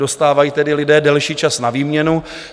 Dostávají tedy lidé delší čas na výměnu.